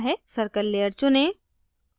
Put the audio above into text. circle layer चुनें